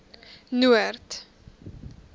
noord